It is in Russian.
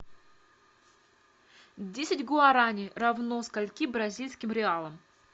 десять гуарани равно скольки бразильским реалам